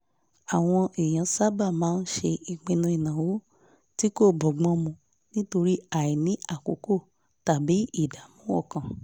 àwọn èèyàn sábà máa ń ṣe ìpinnu ìnáwó tí kò bọ́gbọ́n mu nítorí àìní àkókò tàbí ìdààmú ọkàn